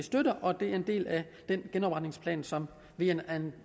og det er en del af den genopretningsplan som vi er en